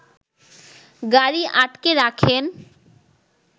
গাড়ি আটকে রাখেন